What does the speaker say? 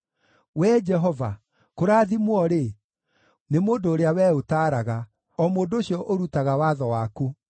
Wee Jehova, kũrathimwo-rĩ, nĩ mũndũ ũrĩa Wee ũtaaraga, o mũndũ ũcio ũrutaga watho waku;